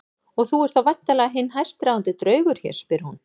Og þú ert þá væntanlega hinn hæstráðandi draugur hér, spyr hún.